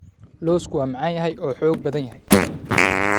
Lawsku waa macaan yahay oo xoog badan yahay.